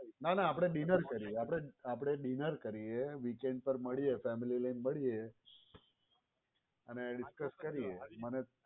ના ના આપણે dinner કરીયે આપણે dinner કરીયે weekend પર મળીયે family લઈને મળીયે અને discuss કરીયે.